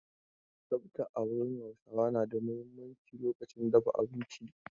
Tsafta a wurin Hausawa na da muhimmanci lokacin dafa abinci.